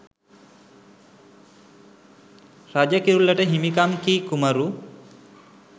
රජ කිරුළට හිමි කම් කී කුමරු